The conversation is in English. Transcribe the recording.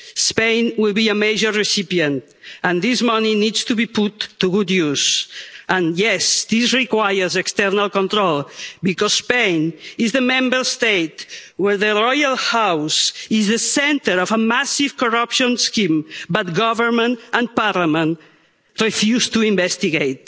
Spain will be a major recipient and this money needs to be put to good use and yes, this requires external control because Spain is the Member State where the royal house is the centre of a massive corruption scheme but the government and parliament refuse to investigate.